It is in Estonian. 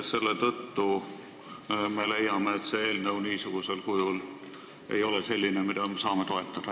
Selle tõttu me leiame, et see eelnõu niisugusel kujul ei ole selline, et me saame seda toetada.